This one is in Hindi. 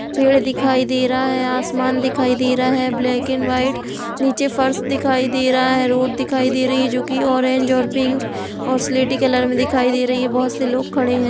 पेड़ दिखाई दे रहा है आसमान दिखाई दे रहा है ब्लैक एण्ड व्हाइट नीचे फर्श दिखाई दे रहा है रोड दिखाई दे रही है जो की ऑरेंज और पिंक और सिलेटी कलर मे दिखाई दे रही ही और बहोत से लोग खड़े हैं।